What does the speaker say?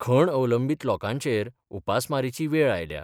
खण अवलंबीत लोकांचेर उपासमारीची वेळ आयल्या.